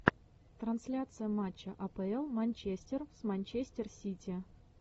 трансляция матча апл манчестер с манчестер сити